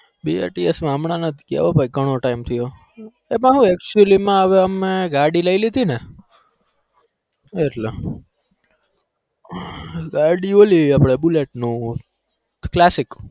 બે ટેસ કરવું હમજ કેવાય ગણો time એમાં હું actually માં have ગાડી લઇ લીધી એટલે ગાડી એટલે અપ્ડું પેલું bullet નું classic